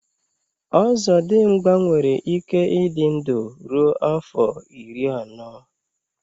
ọzọdịmgba nwere ike ịdị ndụ ruo afọ iri anọ